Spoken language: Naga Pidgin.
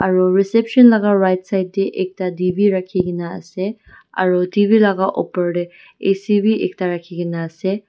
aro reception laka right side tae ekta t v rakhikaena ase aro t v laka opor tae a c bi ekta rakhikena ase.